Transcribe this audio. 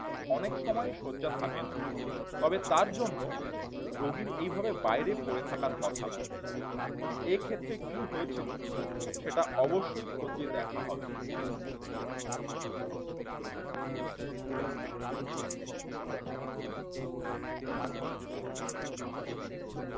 অনেক সময় শয্যাথাকে না তবে তার জন্য রোগীর এইভাবে বাইরে পড়ে থাকার কথা নয় এক্ষেত্রে কি হয়েছিল সেটা অবশ্যই খতিয়ে দেখা হবে।